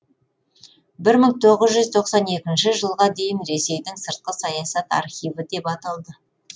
бір мың тоғыз жүз тоқсан екінші жылға дейін ресейдің сыртқы саясат архиві деп аталды